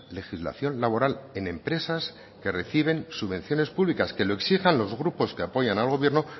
legislación laboral en empresas que reciben subvenciones públicas que lo exijan los grupos que apoyan al gobierno